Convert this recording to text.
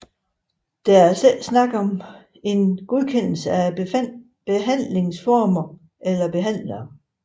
Der er altså ikke tale om en godkendelse af behandlingsformer eller behandlere